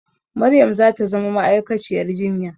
Maryam za ta zama ma'aikaciyar jinya